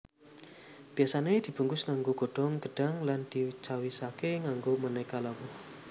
Biyasane dibungkus nganggo godhong gedhang lan dicawisake nganggo maneka lawuh